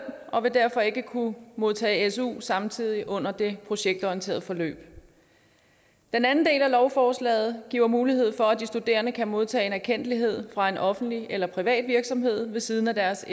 og vil derfor ikke kunne modtage su samtidig under det projektorienterede forløb den anden del af lovforslaget giver mulighed for at de studerende kan modtage en erkendtlighed fra en offentlig eller privat virksomhed ved siden af deres